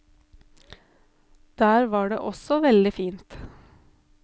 Der var det også veldig fint.